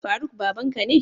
Faruk babanka ne?